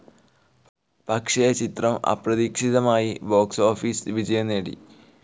പക്ഷെ ചിത്രം അപ്രതീക്ഷിതമായി ബോക്സ്‌ ഓഫിസ് വിജയം നേടി.